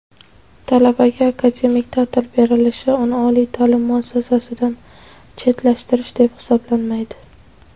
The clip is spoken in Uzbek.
Talabaga akademik ta’til berilishi uni oliy ta’lim muassasasidan chetlashtirish deb hisoblanmaydi.